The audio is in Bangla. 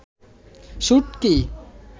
শুটকি